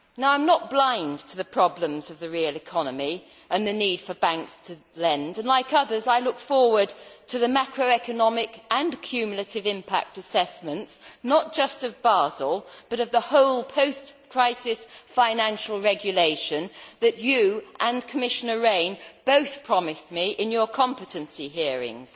I am not blind to the problems of the real economy and the need for banks to lend and, like others, I look forward to the macro economic and cumulative impact assessments, not just of Basel, but of the whole post crisis financial regulation that you, Commissioner, and Commissioner Rehn both promised me in your competency hearings.